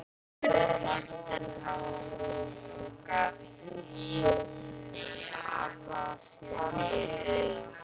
spurði Marteinn háum rómi og gaf Jóni Arasyni auga.